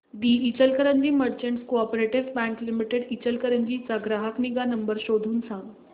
दि Ichalkaranji merchants coop bank limited Ichalkaranji चा ग्राहक निगा नंबर शोधून सांग